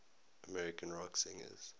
american rock singers